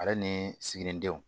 Ale ni siginidenw